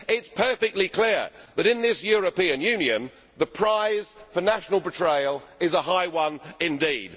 It is perfectly clear that, in this European Union, the prize for national betrayal is a high one indeed.